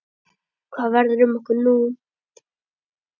Hvað verður um okkur nú?